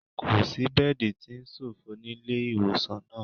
Kò sí bẹ́ẹ̀dì tí ó ṣòfò nílé ìwòsàn náà